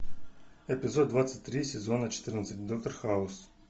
эпизод двадцать три сезона четырнадцать доктор хаус